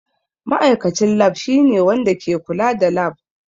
Ma'aikacin Lab shine wanda ke kula da lab.